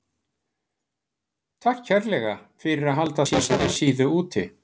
Takk kærlega fyrir að halda þessari síðu úti.